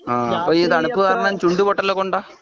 ഹാ അപ്പോ ഈ തണുപ്പ് കാരണം ചുണ്ട് പൊട്ടല് ഒക്കെ ഉണ്ടോ